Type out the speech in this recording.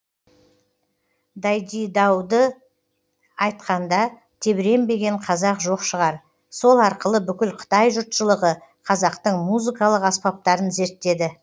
дайдидауды айтқанда тебіренбеген қазақ жоқ шығар сол арқылы бүкіл қытай жұртшылығы қазақтың музыкалық аспаптарын зерттеді